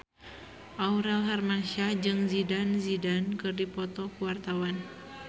Aurel Hermansyah jeung Zidane Zidane keur dipoto ku wartawan